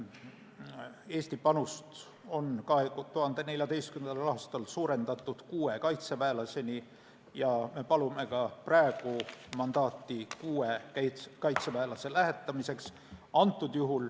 Eesti panust on 2014. aastal suurendatud kuue kaitseväelaseni ja me palume ka praegu mandaati kuue kaitseväelase lähetamiseks.